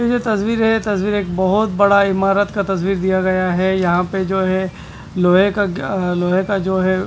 तस्वीर है तस्वीर एक बहोत बड़ा इमारत का तस्वीर दिया गया है यहां पे जो है लोहे का अह लोहे का जो है।